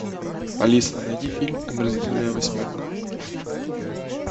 алиса найди фильм омерзительная восьмерка